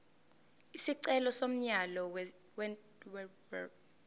isicelo somyalo wentela